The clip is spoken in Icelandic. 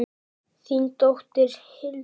Þín dóttir, Hildur.